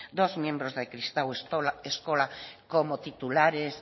dos miembros de kristau eskola como titulares